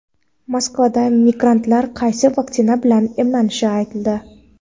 Moskvada migrantlar qaysi vaksina bilan emlanishi aytildi.